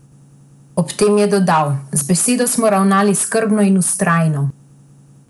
Ob tem je dodal: "Z besedo smo ravnali skrbno in vztrajno.